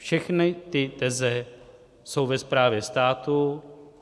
Všechny ty teze - jsou ve správě státu...